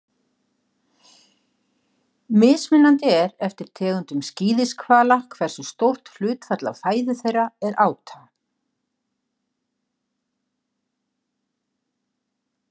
Mismunandi er eftir tegundum skíðishvala hversu stórt hlutfall af fæðu þeirra er áta.